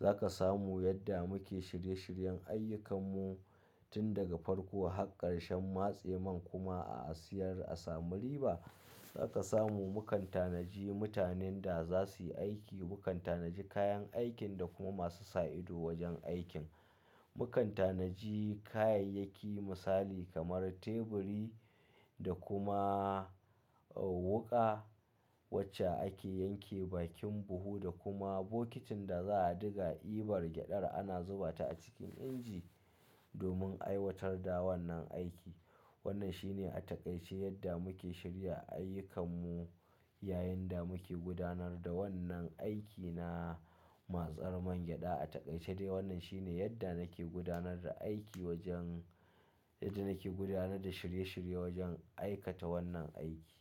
Za ka samu yadda muke shirye-shiryen ayyukanmu tun daga farko har ƙarshen matse man kuma a asiyar a samu riba. Za ka samu mu kantanaji mutanen da za su yi aiki, mu kantanaji kayan aikin da kuma masu sa ido wajen aikin. Mu kantanaji kayayyaki misali kamar teburi da kuma wuka wacce ake yanke bakin buhu da kuma bokitin da za a diga ibar gyaɗar ana zubata a cikin inji domin aiwatar da wannan aiki. Wannan shi ne a takaice yadda muke shirya ayyukanmu yayin da muke gudanar da wannan aiki na matsar man gyaɗa. A takaice dai wannan shi ne yadda nake gudanar da aiki wajen, yadda nake gudanar da shirye-shirye wajen aikata wannan aiki.